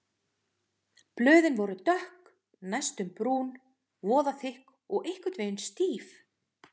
Blöðin voru dökk, næstum brún, voðalega þykk og einhvern veginn stíf.